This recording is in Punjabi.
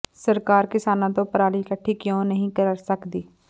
ਸਰਕਾਰ ਕਿਸਾਨਾਂ ਤੋਂ ਪਰਾਲੀ ਇਕੱਠੀ ਕਿਉਂ ਨਹੀਂ ਕਰ ਸਕਦੀ